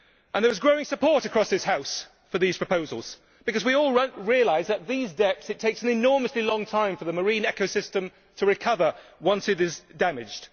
There is growing support across this House for these proposals because we all realise that at these depths it takes an enormously long time for the marine ecosystem to recover once it is damaged.